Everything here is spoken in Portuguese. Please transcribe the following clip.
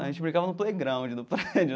A gente brincava no playground do prédio.